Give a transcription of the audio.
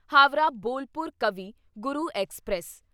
Howrah Bolpur Kavi Guru express